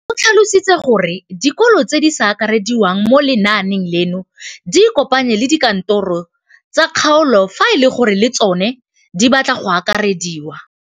O tlhalositse gore dikolo tse di sa akarediwang mo lenaaneng leno di ikopanye le dikantoro tsa kgaolo fa e le gore le tsona di batla go akarediwa.